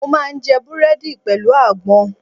Mo máa ń jẹ Búrẹ́dì pẹ̀lú àgbọn.